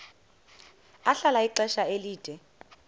ahlala ixesha elide